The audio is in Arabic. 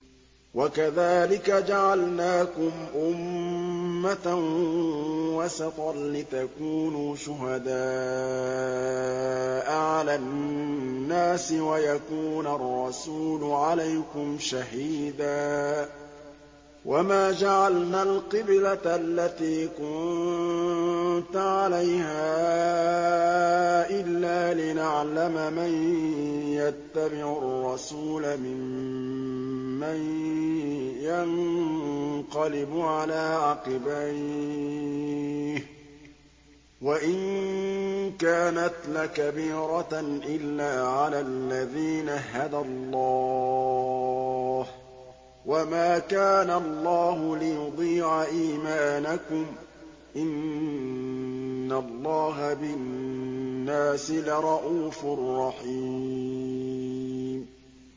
وَكَذَٰلِكَ جَعَلْنَاكُمْ أُمَّةً وَسَطًا لِّتَكُونُوا شُهَدَاءَ عَلَى النَّاسِ وَيَكُونَ الرَّسُولُ عَلَيْكُمْ شَهِيدًا ۗ وَمَا جَعَلْنَا الْقِبْلَةَ الَّتِي كُنتَ عَلَيْهَا إِلَّا لِنَعْلَمَ مَن يَتَّبِعُ الرَّسُولَ مِمَّن يَنقَلِبُ عَلَىٰ عَقِبَيْهِ ۚ وَإِن كَانَتْ لَكَبِيرَةً إِلَّا عَلَى الَّذِينَ هَدَى اللَّهُ ۗ وَمَا كَانَ اللَّهُ لِيُضِيعَ إِيمَانَكُمْ ۚ إِنَّ اللَّهَ بِالنَّاسِ لَرَءُوفٌ رَّحِيمٌ